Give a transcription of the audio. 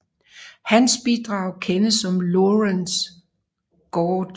Hans bidrag kendes som Lorenz gauge